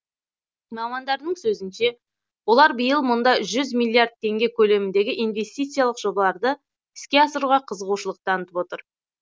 мамандардың сөзінше олар биыл мұнда жү миллиард теңге көлеміндегі инвестициялық жобаларды іске асыруға қызығушылық танытып отыр